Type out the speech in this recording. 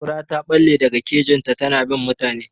Kura ta ɓalle daga kejin ta, ta na bin mutane.